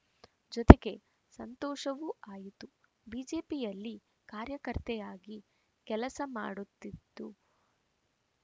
ಜೊತೆಗೆ ಸಂತೋಷವೂ ಆಯಿತು ಬಿಜೆಪಿಯಲ್ಲಿ ಕಾರ್ಯಕರ್ತೆಯಾಗಿ ಕೆಲಸ ಮಾಡುತ್ತಿದ್ದು